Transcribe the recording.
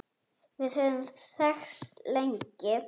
Við höfum þekkst lengi.